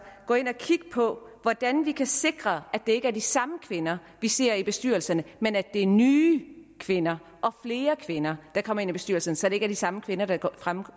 gå ind og kigge på hvordan vi kan sikre at det ikke er de samme kvinder vi ser i bestyrelserne men at det er nye kvinder og flere kvinder der kommer ind i bestyrelserne så det ikke er de samme kvinder der